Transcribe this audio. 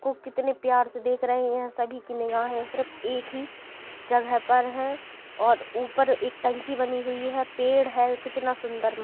को कितने प्यार से देख रहे हैं सभी की निगाहें सिर्फ एक ही जगह पर है और ऊपर एक टंकी बनी हुई है पेड़ है कितना सुंदर म --